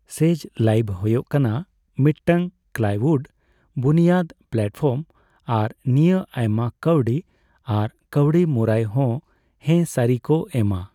ᱥᱮᱡᱽ Live' ᱦᱳᱭᱳᱜ ᱠᱟᱱᱟ ᱢᱤᱫᱴᱟᱝ ᱠᱞᱟᱣᱩᱰᱼᱵᱩᱱᱤᱭᱟᱹᱫᱽ ᱯᱞᱟᱴᱯᱷᱚᱨᱢ ᱟᱨ ᱱᱤᱭᱟᱹ ᱟᱭᱢᱟ ᱠᱟᱹᱣᱰᱤ ᱟᱨ ᱠᱟᱹᱣᱰᱤ ᱢᱩᱨᱟᱹᱭ ᱦᱚᱸ ᱦᱮ ᱥᱟᱨᱤ ᱠᱚ ᱮᱢᱟ ᱾